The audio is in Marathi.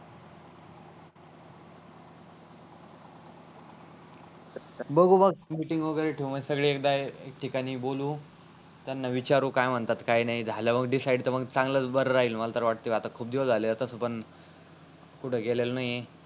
बघू मग मीटिंग वागेरे ठेऊ मग एकदा एक ठिकाणी बोलू त्यांना विचारू जल मग तर